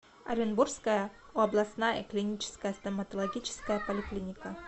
оренбургская областная клиническая стоматологическая поликлиника